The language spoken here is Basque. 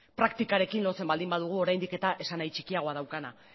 praktikarekin lotzen baldin badugu oraindik eta esanahi txikiagoa daukana